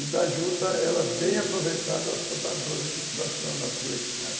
E da juta, ela bem aproveitada, ela só dá dois, duas toneladas por hectare.